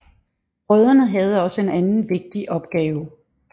Brødrene havde også en anden vigtig opgave